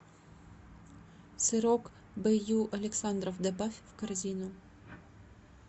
сырок б ю александров добавь в корзину